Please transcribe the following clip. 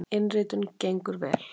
Innritun gengur vel.